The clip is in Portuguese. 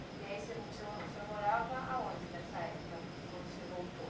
E aí você o senhor o senhor morava aonde nessa época, quando você voltou?